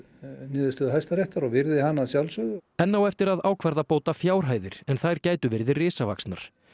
niðurstöðu Hæstaréttar og virði hana að sjálfsögðu enn á eftir að ákvarða bótafjárhæðir en þær gætu verið risavaxnar